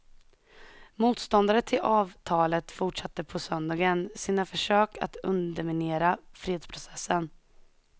Motståndare till avtalet fortsatte på söndagen sina försök att underminera fredsprocessen.